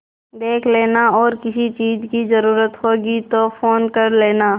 देख लेना और किसी चीज की जरूरत होगी तो फ़ोन कर लेना